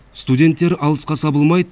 студенттер алысқа сабылмайды